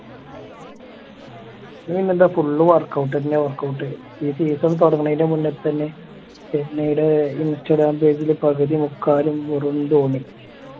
പിന്നെന്താ full workout തന്നെ workout ഈ season തൊടങ്ങണെന് മുന്നേ തന്നെ ചെന്നൈടെ instagram page ല് പകുതി മുക്കാലും വെറും ധോണി